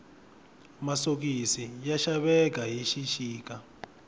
masokisi ya xaveka hi xixika